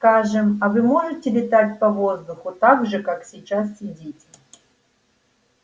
скажем а вы можете летать по воздуху так же как сейчас сидите